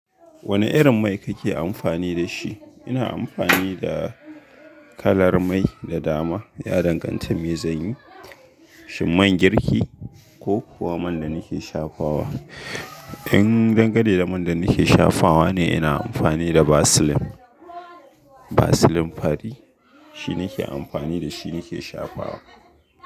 Wane irin mai kake amfani da shi? Ina amfani da kalar mai da dama, ya danganta da mezanyi, shin man girki ko kuwa man da nake shafawa. In dangane da man da nake shafawa ne, ina amfani da Vaseline. Vaseline Fari, shine nake amfani da shi nake shafawa.